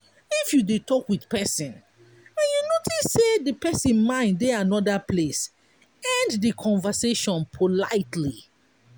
if you dey talk with person and you notice sey di person mind dey anoda place end do conversation politely